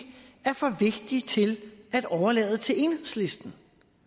er for vigtig til at overlade til enhedslisten